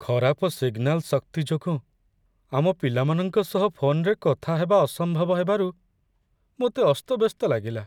ଖରାପ ସିଗନାଲ ଶକ୍ତି ଯୋଗୁଁ ଆମ ପିଲାମାନଙ୍କ ସହ ଫୋନରେ କଥା ହେବା ଅସମ୍ଭବ ହେବାରୁ, ମୋତେ ଅସ୍ତବ୍ୟସ୍ତ ଲାଗିଲା।